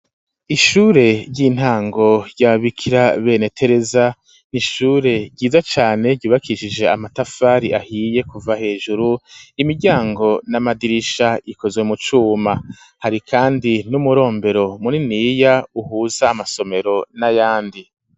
Ishure ry'intango ry'ababikira bene Tereza n'ishure ryiza cane ryubakishije amatafari ahiye kuva hejuru, imiryango n'amadirisha ikozwe mu cuma, hari kandi n'umurombero muniniya uhuza amasomero n'ayandi.